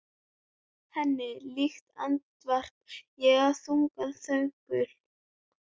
Henni líkt, andvarpa ég í þungum þönkum.